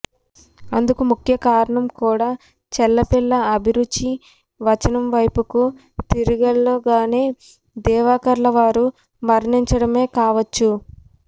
అందుకు ముఖ్యకారణం కూడా చెళ్లపిళ్ల అభిరుచి వచనం వైపుకు తిరిగేలోగానే దివాకర్ల వారు మరణించడమే కావచ్చు